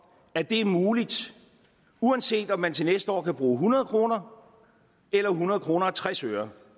at det er muligt uanset om man til næste år kan bruge hundrede kroner eller hundrede kroner og tres øre